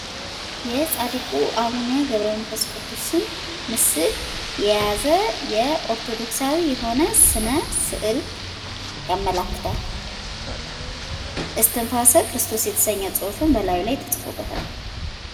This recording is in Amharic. የጻድቁ አቡነ ገብረመንፈስ ቅዱስ ስም ምስል የያዘ ኦርቶዶክሳዊ የሆነ ስነ ስዕል ያመለክታል። እስትንሰ ክርስቶስ የተሰኘ ጽሑም በላዩ ላይ ተጽፎበታል።